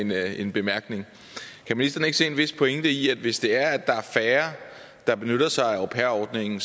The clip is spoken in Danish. mere en bemærkning kan ministeren ikke se en vis pointe i at hvis det er at der er færre der benytter sig af au pair ordningen